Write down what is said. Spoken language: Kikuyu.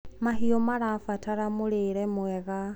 mahiũ marabatara mũrĩre mwega